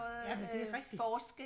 Ja men det er rigtigt